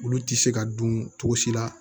Olu tɛ se ka dun cogo si la